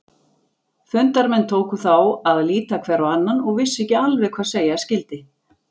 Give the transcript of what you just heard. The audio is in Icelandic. Fundarmenn tóku þá að líta hver á annan og vissu ekki alveg hvað segja skyldi.